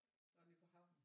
Nå nede på havnen